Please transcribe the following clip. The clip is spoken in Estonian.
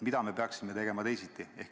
Mida me peaksime tegema teisiti?